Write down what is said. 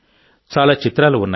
చాలా చిత్రాలు ఉన్నాయి